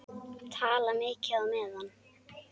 Tala mikið á meðan.